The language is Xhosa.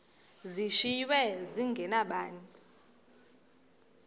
zishiywe zinge nabani